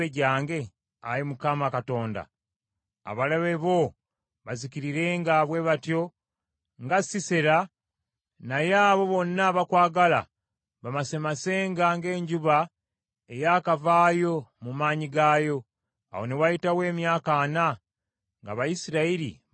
“Ayi Mukama Katonda abalabe bo bazikirirenga bwe batyo nga Sisera. Naye abo bonna abakwagala bamasemasenga ng’enjuba ey’akavaayo mu maanyi gaayo.” Awo ne wayitawo emyaka ana nga Abayisirayiri bali mu mirembe.